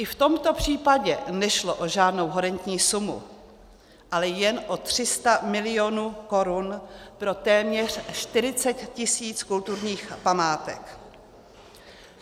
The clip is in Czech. I v tomto případě nešlo o žádnou horentní sumu, ale jen o 300 milionů korun pro téměř 40 tisíc kulturních památek.